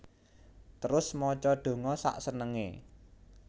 Terus maca donga sak senengé